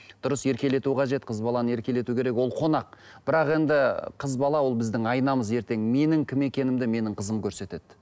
дұрыс еркелету қажет қыз баланы еркелету керек ол қонақ бірақ енді қыз бала ол біздің айнамыз ертең менің кім екенімді менің қызым көрсетеді